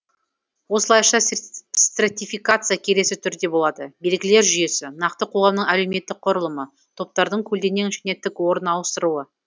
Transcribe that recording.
осылайша стратификация келесі түрде болады белгілер жүйесі нақты қоғамның әлеуметтік құрлымы топтардың көлденең және тік орын ауыстыруы